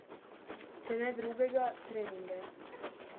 Če ne drugega, treninge.